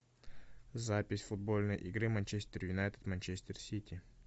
запись футбольной игры манчестер юнайтед манчестер сити